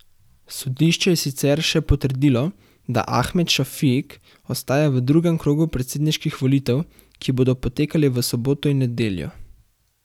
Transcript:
Sodišče je sicer še potrdilo, da Ahmed Šafik ostaja v drugem krogu predsedniških volitev, ki bodo potekale v soboto in nedeljo.